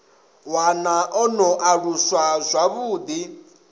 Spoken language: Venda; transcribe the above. wana a no aluswa zwavhuḓi